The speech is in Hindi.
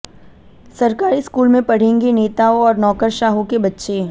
सरकारी स्कूल में पढ़ेंगे नेताओं और नौकरशाहों के बच्चे